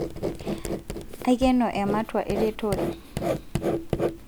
aikeno ematua eretore